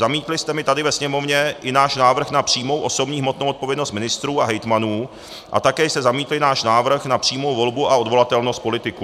Zamítli jste mi tady ve Sněmovně i náš návrh na přímou osobní hmotnou odpovědnost ministrů a hejtmanů a také jste zamítli náš návrh na přímou volbu a odvolatelnost politiků.